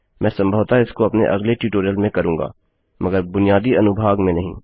मैं संभवतः इसको अपने अगले ट्यूटोरियल में करूँगा मगर बुनियादी अनुभाग में नहीं